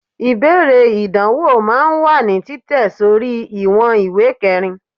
ibeere idanwo máà ń wa ní Titẹ sorí iwon ìwé kerín